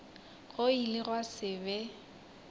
go ile gwa se be